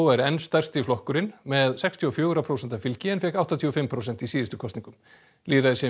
er enn stærsti flokkurinn með sextíu og fjögurra prósenta fylgi en fékk áttatíu og fimm prósent í síðustu kosningum